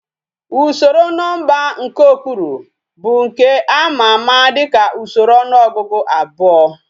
Usoro nomba nke okpuru bu nke ama ama dika usoro onuogugu abuo